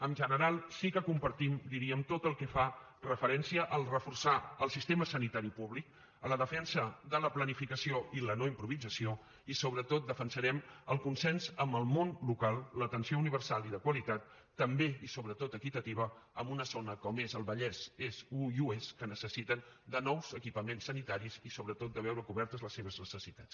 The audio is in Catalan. en general sí que compartim diríem tot el que fa referència a reforçar el sistema sanitari públic a la defensa de la planificació i la no improvisació i sobretot defensarem el consens amb el món local l’atenció universal i de qualitat també i sobretot equitativa en una zona com és el vallès est i oest que necessiten nous equipaments sanitaris i sobretot veure cobertes les seves necessitats